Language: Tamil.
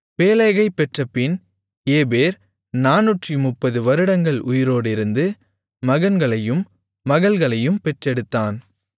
பேலேகைப் பெற்றபின் ஏபேர் 430 வருடங்கள் உயிரோடிருந்து மகன்களையும் மகள்களையும் பெற்றெடுத்தான்